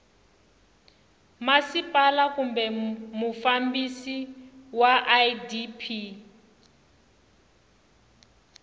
masipala kumbe mufambisi wa idp